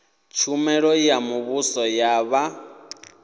tshumelo ya muvhuso ya vha